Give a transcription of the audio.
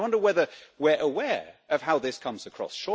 I wonder whether we're aware of how this comes across?